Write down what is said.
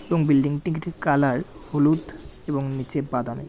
এবং বিল্ডিং -টি কালার হলুদ এবং নিচের বাদামের।